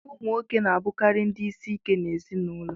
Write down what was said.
Ụmụ nwoke na-abụkarị ndị isi ike n'ezinụlọ